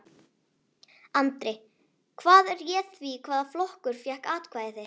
Andri: Hvað réð því hvaða flokkur fékk atkvæði þitt?